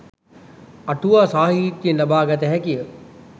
අටුවා සාහිත්‍යයෙන් ලබා ගත හැකිය.